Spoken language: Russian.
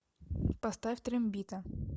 поставь трембита